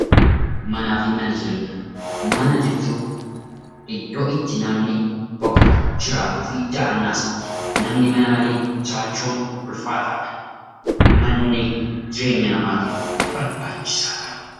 Manaa fi Mana Jireenyaa: Mana jechuun iddoo itti namni boqotu, jiraatuu fi dahannaa isaati. Mana malee jiraachuun ulfaataadha. Manni jireenya namaatiif barbaachisaadha.